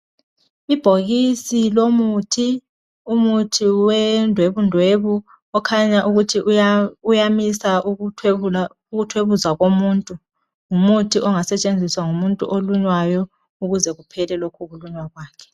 Ibhokisi lomuthi. Umuthi wendwebundwebu , okhanya ukuthi uyamisa ukuthwebuza komuntu, ngumuthi ongasetshenziswa ngumuntu olunywayo ukuze kuphele lokhu kulunywa kwakhe.